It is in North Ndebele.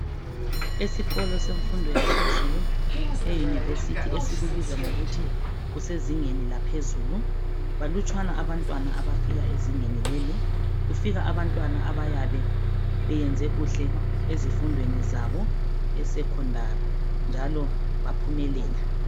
Esikolo semfundo yaphezulu e university esikubiza ngokuthi okusezingeni laphezulu balutshwane abantwana abafika ezingeni leli kugika abantwana abayabe beyenze kuhle ezifundweni zabo e Secondary njalo baphumelela.